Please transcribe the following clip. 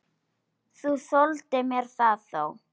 Þú þoldir mér það þó.